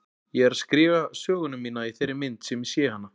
Ég er að skrifa söguna mína í þeirri mynd sem ég sé hana.